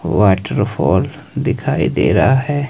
Waterfall दिखाई दे रहा है।